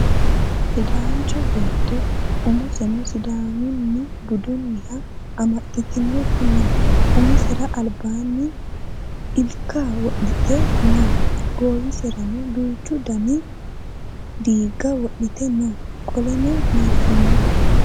Sidaancho beetto umoseno sidaamu budiha amaxxitinoti no. Umisera albaanni ilika wodhite no. Goowiserano duuchu dani diigo wodhite no. Qoleno biiffino.